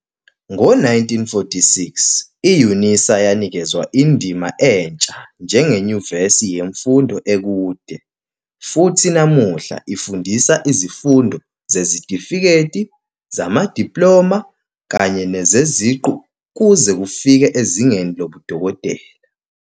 Ngo-1946, i-UNISA yanikezwa indima entsha njengenyuvesi yemfundo ekude, futhi namuhla ifundisa izifundo zezitifiketi, zamadiploma kanye nezeziqu kuze kufike ezingeni lobudokotela.